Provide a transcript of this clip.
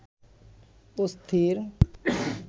অস্থির